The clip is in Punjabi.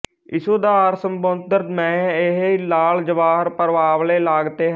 ਇਸ ਉਦਰ ਸਮੁੰਦ੍ਰ ਮਹਿ ਏਹੀ ਲਾਲ ਜਵਾਹਰ ਪਰਵਾਲੇ ਲਾਗਤੇ ਹੈ